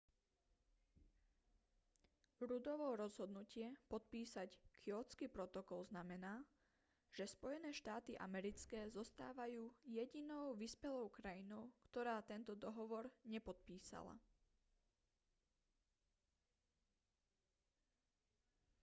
ruddovo rozhodnutie podpísať kjótsky protokol znamená že spojené štáty americké zostávajú jedinou vyspelou krajinou ktorá tento dohovor nepodpísala